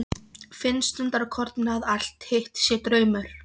Finnst stundarkorn að allt hitt sé draumur.